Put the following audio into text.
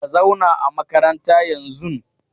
Ka zauna a makaranta yanzun!